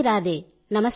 Radhe Radhe